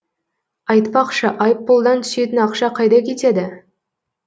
айтпақшы айыппұлдан түсетін ақша қайда кетеді